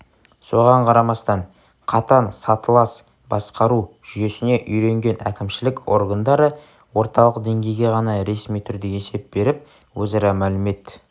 соған қарамастан қатаң сатылас басқару жүйесіне үйренген әкімшілік органдары орталық деңгейге ғана ресми түрде есеп беріп өзара мәлімет